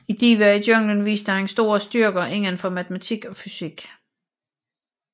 I Divaer i Junglen viste han store styrker indenfor matematik og fysik